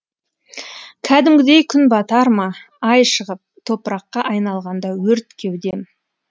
кәдімгідей күн батар ма ай шығып топыраққа айналғанда өрт кеудем